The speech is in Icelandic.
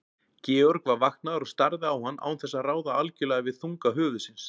Georg var vaknaður og starði á hann án þess að ráða algjörlega við þunga höfuðsins.